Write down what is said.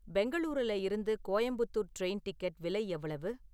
பெங்களூருல இருந்து Coimbatore train ticket விலை எவ்வளவு?